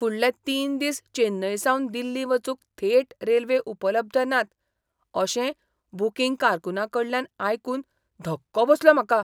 फुडले तीन दिस चेन्नईसावन दिल्ली वचूंक थेट रेल्वे उपलब्ध नात अशें बुकींग कारकुनाकडल्यान आयकून धक्को बसलो म्हाका.